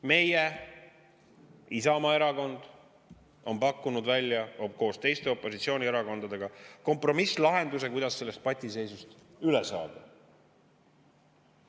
Meie, Isamaa Erakond on koos teiste opositsioonierakondadega pakkunud välja kompromisslahenduse, kuidas sellest patiseisust üle saada.